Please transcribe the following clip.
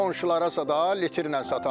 Qonşulara zada litrlə satardım.